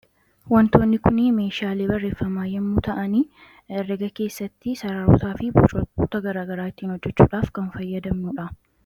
Wantoonni kun meeshaalee barreeffamaa yoo ta'ani herrega keessatti sararootaafi bocoota gara garaa ittiin hojjechuudhaaf kan itti fayyadamnudha.